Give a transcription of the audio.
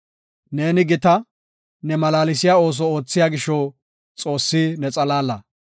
Neeni gita; ne malaalsiya ooso oothiya gisho Xoossi ne xalaala.